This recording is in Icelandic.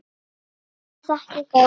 Kærar þakkir, góði vinur.